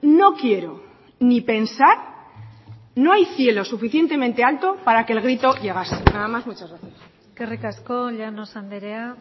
no quiero ni pensar no hay cielo suficientemente alto para que el grito llegase nada más muchas gracias eskerrik asko llanos andrea